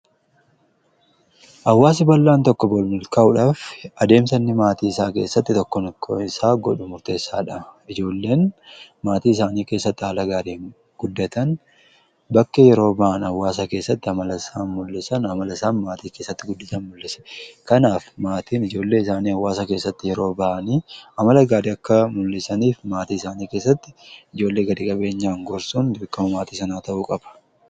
awwaasi bal'aan tokko bolmulkaa'uudhaaf adeemsanni maatii isaa keessatti tokko tokoo isaa godhu murteessaadha ijoolleen maatii isaanii keessatti aala gaadii guddatan bakke yeroo ba'an awwaasa keessatti amalasaa mul'isan amalasaan maatii keessatti guddatan mul'ise kanaaf maatiin ijoollee isaanii awwaasa keessatti yeroo ba'anii amala gaadii akka mul'isaniif maatii isaanii keessatti ijoollee gad-qabeenyaa gorsuun ikkama maatii sanaa ta'uu qaba